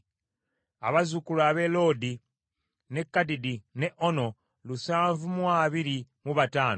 abazzukulu ab’e Loodi, n’e Kadidi, n’e Ono lusanvu mu abiri mu bataano (725),